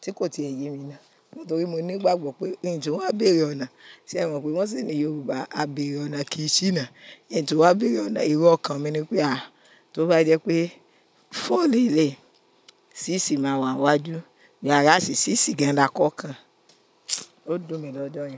tí kò ti èyí mi ná. Nítorí mo nígbàgbọ́ pé, n tunwa bèrè ọ̀nà. Ṣé ẹ mọ̀ pé wọ́n sì ní Yorùbá á bèrè ọ̀nà kìí ṣíná. N tunwa wá bèrè ọ̀nà, erọ́ ọkàn mi ni pé à, tó bá jẹ́ pé four le leyi, ṣíṣí máa wà iwájú. Whereas ṣíṣí gan-an lakọ́kan. Ó dùn mi lọ́jọ̀ yẹn.